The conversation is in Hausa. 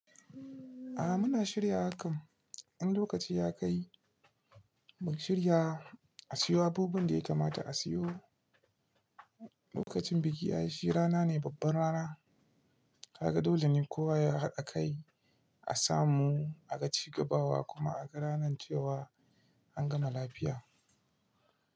Ah muna shirya hakan. In lokaci ya kai mu shirya a siyo abubuwan da ya kamata a siyo. Lokacin biki ya yi shi rana ne, babbar rana. Kaga dole ne kowa yahaɗa kai a samu, a ga cigabawa kuma a ga ranan cewa an gama lafiya.